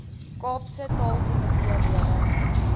kaapse taalkomitee lede